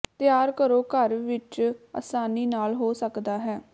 ਤਿਆਰ ਕਰੋ ਘਰ ਵਿੱਚ ਆਸਾਨੀ ਨਾਲ ਹੋ ਸਕਦਾ ਹੈ